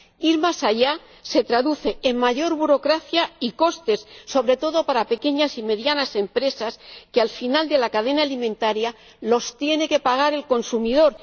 Ir más allá se traduce en mayor burocracia y costes —sobre todo para las pequeñas y medianas empresas—, que, al final de la cadena alimentaria, tiene que pagar el consumidor.